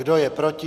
Kdo je proti?